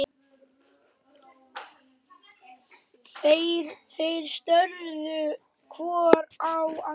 Þeir störðu hvor á annan.